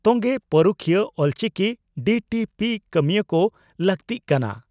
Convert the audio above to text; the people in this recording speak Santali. ᱛᱚᱝᱜᱮᱹᱹᱹᱹᱹᱹ ᱯᱟᱹᱨᱩᱠᱷᱤᱭᱟᱹ ᱚᱞᱪᱤᱠᱤ ᱰᱤᱹᱴᱤᱹᱯᱤᱹ ᱠᱟᱹᱢᱤᱭᱟᱹ ᱠᱚ ᱞᱟᱹᱠᱛᱤᱜ ᱠᱟᱱᱟ